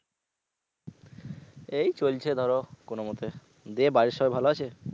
এই চলছে ধরো কোনমতে, দে বাড়ির সবাই ভালো আছে?